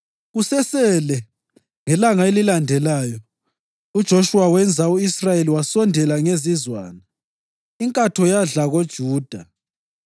Kusesele ngelanga elilandelayo uJoshuwa wenza u-Israyeli wasondela ngezizwana, inkatho yadla koJuda.